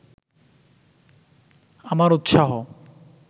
আমার উৎসাহ